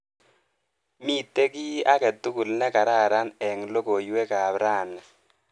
Miite kiiy akatukul nekararan eng logoiwekap rani.